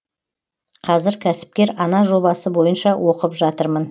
қазір кәсіпкер ана жобасы бойынша оқып жатырмын